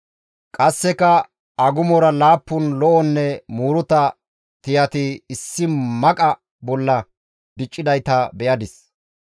«Qasseka agumora laappun lo7onne muuruta tiyati issi maqa bolla diccidayta be7adis.